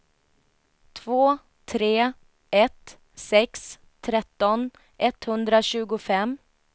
två tre ett sex tretton etthundratjugofem